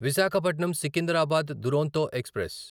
Visakhapatnam Secunderabad Duronto express